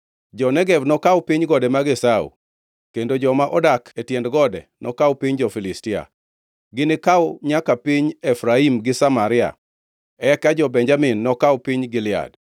Jo-Negev nokaw piny gode mag Esau, kendo joma odak e tiend gode nokaw piny jo-Filistia, ginikaw nyaka piny Efraim gi Samaria, eka jo-Benjamin nokaw piny Gilead.